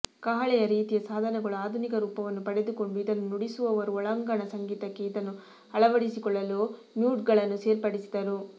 ಕಹಳೆಯ ರೀತಿಯ ಸಾಧನಗಳು ಆಧುನಿಕ ರೂಪವನ್ನು ಪಡೆದುಕೊಂಡು ಇದನ್ನು ನುಡಿಸುವವರು ಒಳಾಂಗಣ ಸಂಗೀತಕ್ಕೆ ಇದನ್ನು ಅಳವಡಿಸಿಕೊಳ್ಳಲು ಮ್ಯೂಟ್ಗಳನ್ನು ಸೇರ್ಪಡಿಸಿದರು